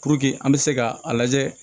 Puruke an bɛ se ka a lajɛ